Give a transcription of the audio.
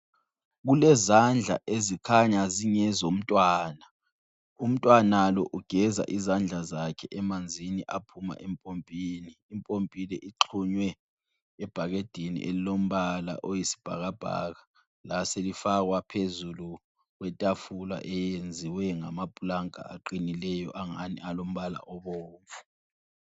Kulezandla ezikhanya zingezomntwana, umntwana lo ugeza izandla zakhe emanzini aphuma empompini. Impompi le ixhunywe ebhakedeni elilombala oyisibhakabhaka laselifakwa phezulu kwetafula eyenziwe ngamapulanka aqinileyo angani alombala obomvu.